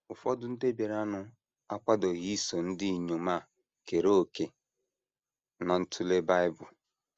Ụfọdụ ndị bịaranụ akwadoghị iso ndị inyom a kere òkè ná ntụle Bible.